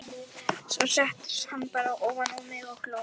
Svo settist hann bara ofan á mig og hló.